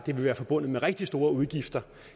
være forbundet med rigtig store udgifter